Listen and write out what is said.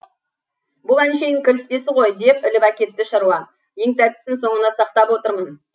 бұл әншейін кіріспесі ғой деп іліп әкетті шаруа ең тәттісін соңына сақтап отырмын